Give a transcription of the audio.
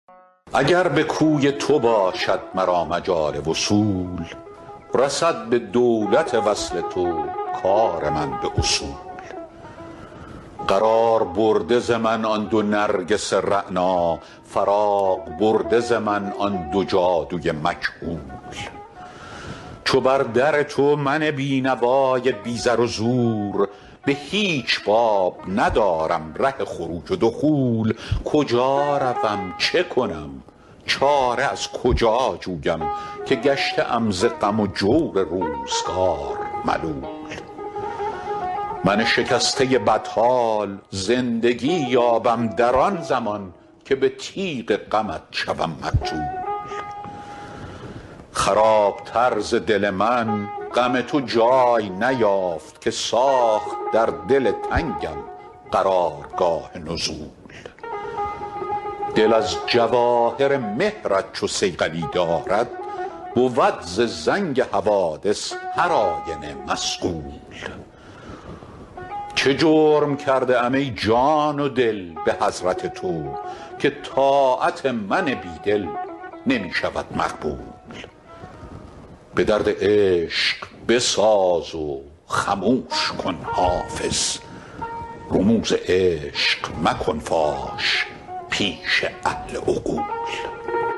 اگر به کوی تو باشد مرا مجال وصول رسد به دولت وصل تو کار من به اصول قرار برده ز من آن دو نرگس رعنا فراغ برده ز من آن دو جادو ی مکحول چو بر در تو من بینوا ی بی زر و زور به هیچ باب ندارم ره خروج و دخول کجا روم چه کنم چاره از کجا جویم که گشته ام ز غم و جور روزگار ملول من شکسته بدحال زندگی یابم در آن زمان که به تیغ غمت شوم مقتول خراب تر ز دل من غم تو جای نیافت که ساخت در دل تنگم قرار گاه نزول دل از جواهر مهر ت چو صیقلی دارد بود ز زنگ حوادث هر آینه مصقول چه جرم کرده ام ای جان و دل به حضرت تو که طاعت من بیدل نمی شود مقبول به درد عشق بساز و خموش کن حافظ رموز عشق مکن فاش پیش اهل عقول